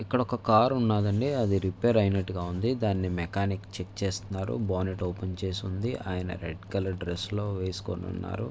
ఇక్కడ ఒక కార్ ఉన్నది అండి. అది రిపేర్ ఐనట్టుగాఉంది. దానినీ మెకానిక్ చెక్ చేసుతున్నారు. బాడీ ఓపెన్ చేసివుంది. ఆయన రెడ్ కలర్ డ్రెస్స్ లో వేసుకోని ఉన్నారు.